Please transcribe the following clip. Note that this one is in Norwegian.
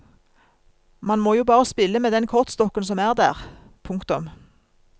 Man må jo bare spille med den kortstokken som er der. punktum